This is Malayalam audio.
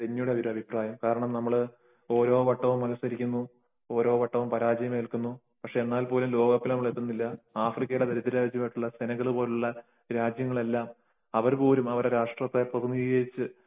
ഡെന്നിയുടെ അഭിപ്രായം . കാരണം നമ്മൾ ഓരോ വട്ടവും മത്സരിക്കുന്നു ഓരോ വട്ടവും പരാജയമേൽക്കുന്നു . എന്നാലും നമ്മൾ ലോക കപ്പിൽ എത്തുന്നില്ല . ആഫ്രിക്കയിലെ സെനഗൽ പോലുള്ള ദരിദ്ര രാജ്യം അവര് പോലും അവരുടെ രാഷ്ട്രത്തെ പ്രതിനിധീകരിച്ചു